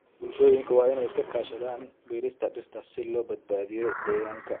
Bulshooyinka waa in ay iska kaashadaan beerista dhirta si loo badbaadiyo deegaanka.